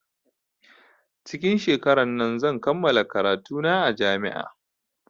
Cikin shekarar nan zan kammala karatu na a jami'a